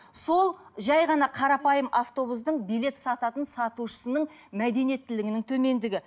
сол жай ғана қарапайым автобустың билет сататын сатушысының мәдениеттілігінің төмендігі